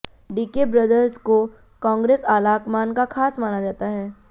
DK brothers को कांग्रेस आलाकमान का खास माना जाता है